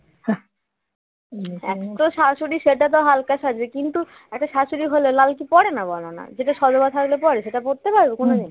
একতো শাশুড়ি সেটা তো হালকা সাজে কিন্তু একটা শাশুড়ি হলেও লাল কি পড়ে না বলোনা সেটা সধবা থাকলে পড়ে সেটা পড়তে পারবে কোনদিন